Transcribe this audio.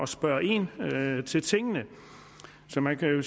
spørge ind til tingene så man kan jo